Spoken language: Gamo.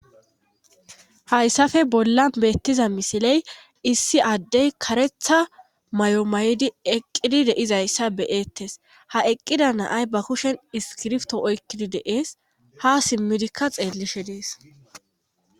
haysafe bollan beettiza misiley issi adey karetta mayo mayidi eqqidi de7izayssa be7eetes;ha eqqida na7ay ba kushe iskiribto oykkidi de7ees;haa simmidikka xeellishe de7ees.